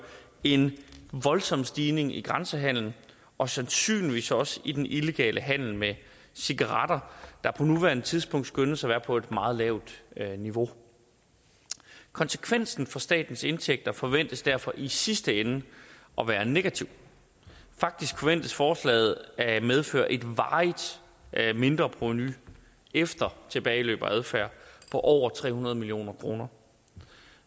en voldsom stigning i grænsehandelen og sandsynligvis også i den illegale handel med cigaretter der på nuværende tidspunkt skønnes at være på et meget lavt niveau konsekvensen for statens indtægter forventes derfor i sidste ende at være negativ faktisk forventes forslaget at medføre et varigt mindreprovenu efter tilbageløb og adfærd på over tre hundrede million kroner